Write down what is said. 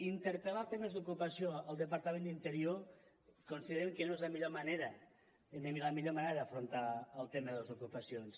interpel·lar temes d’ocupació al departament d’interior considerem que no és la millor manera d’afrontar el tema de les ocupacions